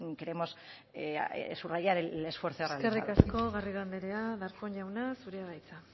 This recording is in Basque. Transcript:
queremos subrayar el esfuerzo realizado eskerrik asko garrido anderea darpón jauna zurea da hitza